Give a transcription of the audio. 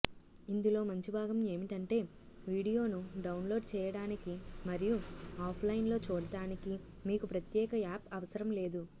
ఇందులో మంచి భాగం ఏమిటంటే వీడియోను డౌన్లోడ్ చేయడానికి మరియు ఆఫ్లైన్లో చూడటానికి మీకు ప్రత్యేక యాప్ అవసరం లేదు